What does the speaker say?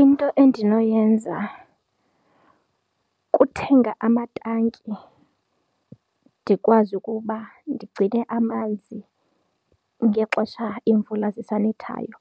Into endinoyenza kuthenga amatanki ndikwazi ukuba ndigcine amanzi ngexesha iimvula zisanethayo